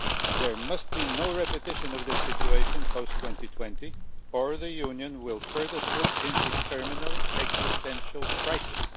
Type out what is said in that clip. There must be no repetition of the situation post 2020 or the Union will further slip into terminal existential crisis.